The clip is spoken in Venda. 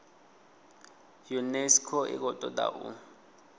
unesco i khou toda u